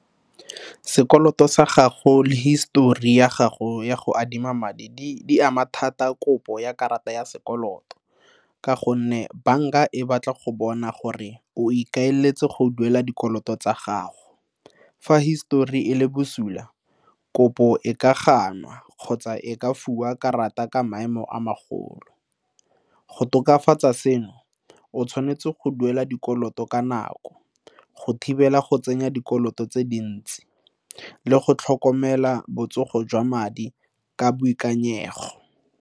Sekoloto sa gago le histori ya gago ya go adima madi di ama thata kopo ya karata ya sekoloto ka gonne, banka e batla go bona gore o ikaeletse go duela dikoloto tsa gago, fa histori e le bosula, kopo e ka ganwa kgotsa o ka fiwa karata ka maemo a magolo. Go tokafatsa seno o tshwanetse go duela dikoloto ka nako go thibela go tsenya dikoloto tse dintsi, le go tlhokomela botsogo jwa madi ka boikanyego.